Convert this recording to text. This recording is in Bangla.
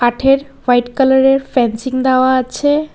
হোয়াইট কালারের ফ্যানসিং দেওয়া আছে।